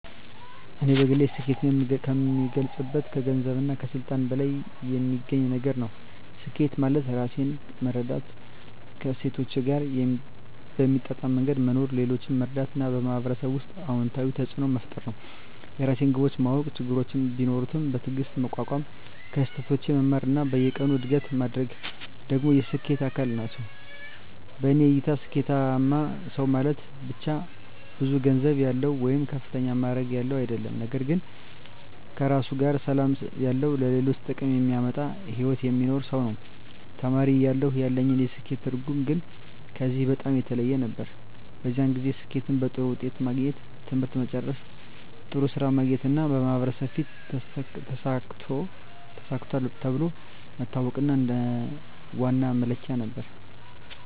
እኔ በግል ስኬትን የምገልጸው ከገንዘብና ከስልጣን በላይ የሚገኝ ነገር ነው። ስኬት ማለት ራሴን መረዳት፣ ከእሴቶቼ ጋር በሚጣጣም መንገድ መኖር፣ ሌሎችን መርዳት እና በማህበረሰብ ውስጥ አዎንታዊ ተፅዕኖ መፍጠር ነው። የራሴን ግቦች ማወቅ፣ ችግሮችን ቢኖሩም በትዕግስት መቋቋም፣ ከስህተቶቼ መማር እና በየቀኑ እድገት ማድረግ ደግሞ የስኬት አካል ናቸው። በእኔ እይታ ስኬታማ ሰው ማለት ብቻ ብዙ ገንዘብ ያለው ወይም ከፍተኛ ማዕረግ ያለው አይደለም፤ ነገር ግን ከራሱ ጋር ሰላም ያለው፣ ለሌሎች ጥቅም የሚያመጣ ሕይወት የሚኖር ሰው ነው። ተማሪ እያለሁ ያለኝ የስኬት ትርጉም ግን ከዚህ በጣም የተለየ ነበር። በዚያን ጊዜ ስኬትን በጥሩ ውጤት ማግኘት፣ ትምህርት መጨረስ፣ ጥሩ ሥራ ማግኘት እና በማህበረሰብ ፊት “ተሳክቷል” ተብሎ መታወቅ እንደ ዋና መለኪያ ነበር።